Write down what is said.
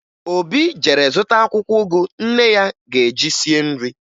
Obi jere zụta akwụkwọ ụgụ nne ya ga-eji sie nri